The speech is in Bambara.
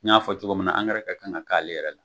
N y'a fɔ cogo min na angɛrɛ ka kan ka k'ale yɛrɛ la.